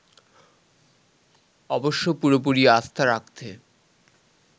অবশ্য পুরোপুরি আস্থা রাখতে